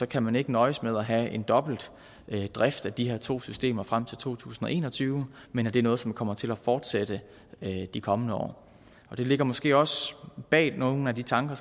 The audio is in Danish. kan man ikke nøjes med at have en dobbeltdrift af de her to systemer frem til to tusind og en og tyve men det er noget som kommer til at fortsætte i de kommende år det ligger måske også bag nogle af de tanker